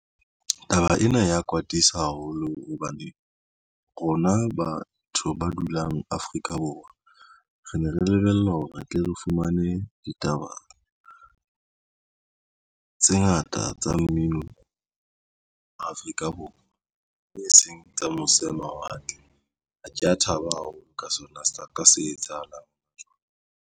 Taba ena ya kwatisa haholo hobane rona batho ba dulang Afrika Borwa re ne re lebella hore re tle re fumane ditaba tse ngata tsa mmino Afrika Borwa e seng tsa mose ho mawatle. Ha ke ya thaba haholo ka sona sa ka se etsahalang.